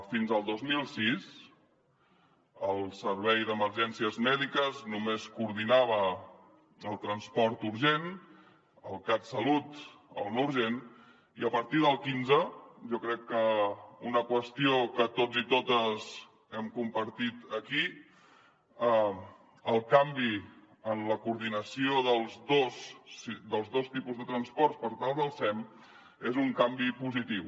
fins al dos mil sis el servei d’emergències mèdiques només coordinava el transport urgent el catsalut el no urgent i a partir del quinze jo crec que una qüestió que tots i totes hem compartit aquí el canvi en la coordinació dels dos tipus de transport per tal del sem és un canvi positiu